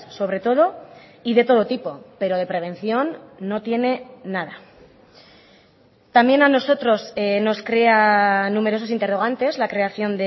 sobre todo y de todo tipo pero de prevención no tiene nada también a nosotros nos crea numerosos interrogantes la creación